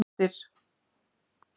Birtir